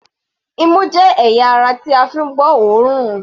Imú jẹ́ ẹ̀yà ara tí a fi ń gbọ́ òórùn.